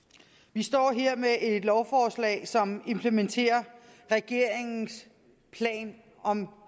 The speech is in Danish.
vi står her med et lovforslag som implementerer regeringens plan om en